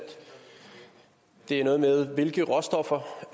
det er noget med hvilke råstoffer